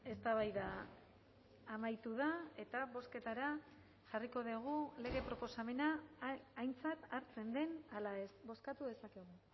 eztabaida amaitu da eta bozketara jarriko dugu lege proposamena aintzat hartzen den ala ez bozkatu dezakegu